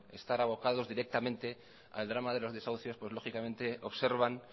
estar abocados directamente al drama de los desahucios pues lógicamente observan